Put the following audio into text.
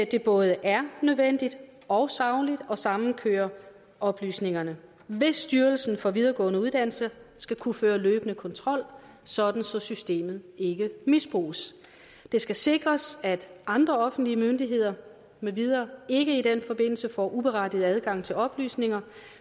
det både er nødvendigt og sagligt at samkøre oplysningerne hvis styrelsen for videregående uddannelser skal kunne føre løbende kontrol så systemet ikke misbruges det skal sikres at andre offentlige myndigheder med videre ikke i den forbindelse får uberettiget adgang til oplysninger